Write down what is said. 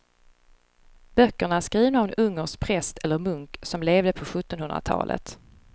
Böckerna är skrivna av en ungersk präst eller munk som levde på sjuttonhundratalet.